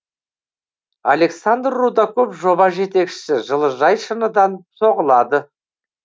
александр рудаков жоба жетекшісі жылыжай шыныдан соғылады